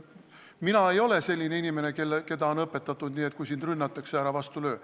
Mina ei ole selline inimene, keda on õpetatud nii, et kui sind rünnatakse, ära vastu löö.